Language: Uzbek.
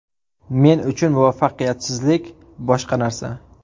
Men uchun muvaffaqiyatsizlik boshqa narsa.